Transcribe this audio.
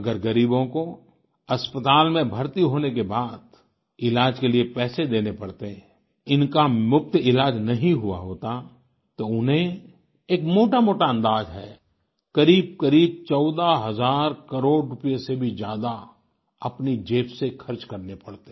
अगर गरीबों को अस्पताल में भर्ती होने के बाद इलाज के लिए पैसे देने पड़ते इनका मुफ्त इलाज नहीं हुआ होता तो उन्हें एक मोटामोटा अंदाज़ है करीबकरीब 14 हज़ार करोड़ रूपए से भी ज्यादा अपनी जेब से खर्च करने पड़ते